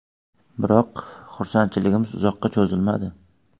Biroq, xursandligimiz uzoqqa cho‘zilmadi.